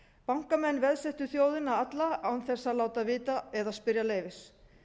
bankamenn veðsettu þjóðina alla án þess að láta vita eða spyrja leyfis